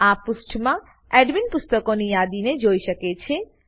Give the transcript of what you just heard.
આ પુષ્ઠમાં એડમીન પુસ્તકોની યાદીને જોઈ શકે છે